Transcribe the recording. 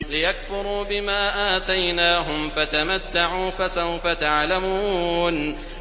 لِيَكْفُرُوا بِمَا آتَيْنَاهُمْ ۚ فَتَمَتَّعُوا فَسَوْفَ تَعْلَمُونَ